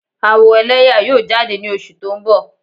Awo ẹlẹyaa yoo jade ni oṣu to n bọ.